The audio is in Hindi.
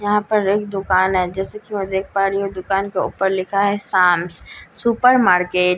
यहां पर एक दुकान है जैसा कि मैं देख पा रही हूं दुकान के ऊपर लिखा है शामस सुपरमार्केट ।